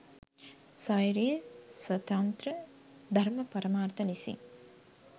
ස්වෛරී, ස්වතන්ත්‍ර, ධර්ම පරමාර්ථ ලෙසින්